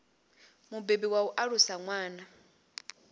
mubebi wa u alusa ṅwana